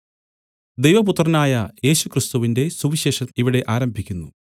ദൈവപുത്രനായ യേശുക്രിസ്തുവിന്റെ സുവിശേഷം ഇവിടെ ആരംഭിക്കുന്നു